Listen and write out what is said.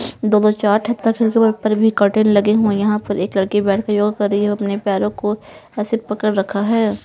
दो-दो चार ठत्ता खिड़क पर भी कर्टेन लगे हुए यहां पर एक लड़की बैठकर योगा कर रही है अपने पैरों को ऐसे पकड़ रखा है.